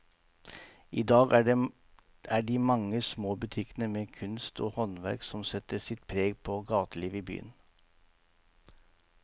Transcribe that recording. I dag er det de mange små butikkene med kunst og håndverk som setter sitt preg på gatelivet i byen.